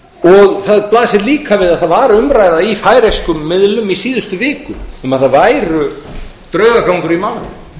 tánum það blasir líka við að það var umræða í færeyskum miðlum í síðustu viku um að draugagang væri í málinu